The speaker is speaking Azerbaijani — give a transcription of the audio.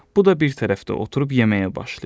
Bu da bir tərəfdə oturub yeməyə başlayır.